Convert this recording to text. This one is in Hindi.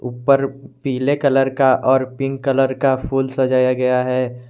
ऊपर पीले कलर का और पिंक कलर का फूल सजाया गया है।